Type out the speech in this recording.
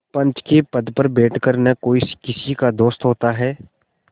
पंच के पद पर बैठ कर न कोई किसी का दोस्त होता है